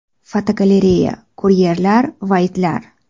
Fotogalereya: Kuryerlar va itlar.